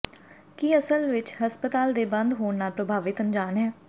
ਕੀ ਅਸਲ ਵਿੱਚ ਹਸਪਤਾਲ ਦੇ ਬੰਦ ਹੋਣ ਨਾਲ ਪ੍ਰਭਾਵਿਤ ਅਣਜਾਣ ਹੈ